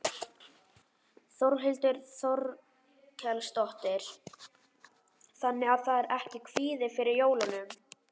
Þórhildur Þorkelsdóttir: Þannig að það er ekki kvíði fyrir jólunum?